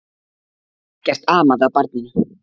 Ekkert amaði að barninu.